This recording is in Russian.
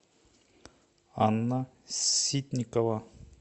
анна ситникова